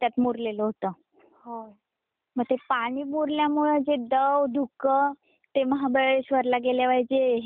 मग ते पाणी मुरल्यामुळे जे दव धुक ते महाबळेश्वर ला गेल्यावर हे असत ना वातावरण.